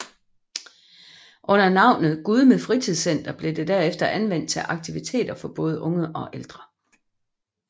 Under navnet Gudme Fritidscenter blev det derefter anvendt til aktiviteter for både unge og ældre